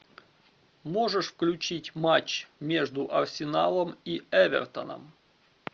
можешь включить матч между арсеналом и эвертоном